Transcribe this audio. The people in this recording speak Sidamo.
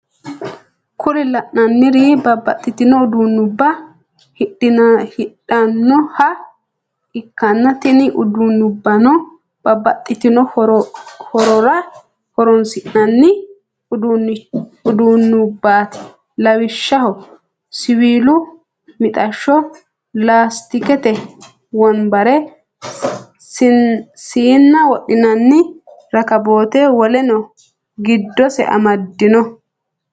Kuri lananiri babatitino udunuba hedhanoha ikana tini udunubano babatitino hororra horronisinanni udunubati lawisho siwilu mitasho, lasitikete wonibare, sina wodhinani rakabote woleno gidosi amadino.